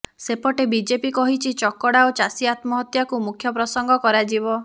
ସେପଟେ ବିଜେପି କହିଛି ଚକଡା ଓ ଚାଷୀ ଆତ୍ମହତ୍ୟାକୁ ମୁଖ୍ୟ ପ୍ରସଙ୍ଗ କରାଯିବ